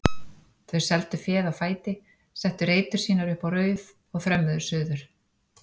Þau seldu féð á fæti, settu reytur sínar upp á Rauð og þrömmuðu suður.